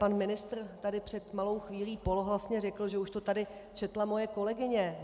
Pan ministr tady před malou chvílí polohlasně řekl, že už to tady četla moje kolegyně.